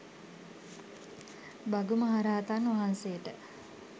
භගු මහරහතන් වහන්සේට